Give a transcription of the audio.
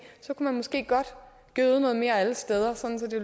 så kunne man måske godt gøde noget mere alle steder sådan at det